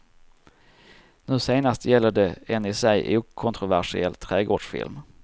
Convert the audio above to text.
Nu senast gäller det en i sig okontroversiell trädgårdsfilm.